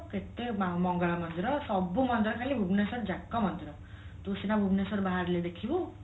କେତେ ମଙ୍ଗଳା ମନ୍ଦିର ସବୁ ମନ୍ଦିର ଖାଲି ଭୁବନେଶ୍ଵର ଯାକ ମନ୍ଦିର ତୁ ସିନା ଭୁବନେଶ୍ଵର ବାହାରିଲେ ଦେଖିବୁ